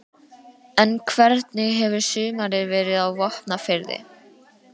En hvernig hefur sumarið verið á Vopnafirði?